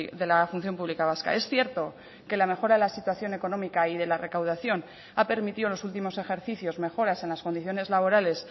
de la función pública vasca es cierto que la mejora de la situación económica y de la recaudación ha permitido en los últimos ejercicios mejoras en las condiciones laborales